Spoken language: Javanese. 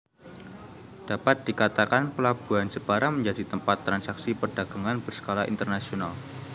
Dapat dikatakan Pelabuhan Jepara menjadi tempat transaksi perdagangan berskala internasional